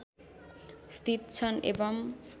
स्थित छन् एवं